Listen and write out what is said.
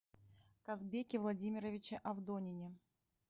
казбеке владимировиче авдонине